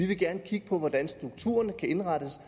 vi gerne vil kigge på hvordan strukturen kan indrettes